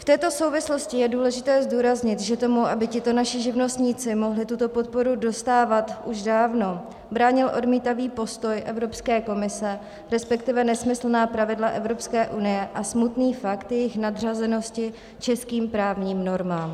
V této souvislosti je důležité zdůraznit, že tomu, aby tito naši živnostníci mohli tuto podporu dostávat už dávno, bránil odmítavý postoj Evropské komise, respektive nesmyslná pravidla Evropské unie a smutný fakt jejich nadřazenosti českým právním normám.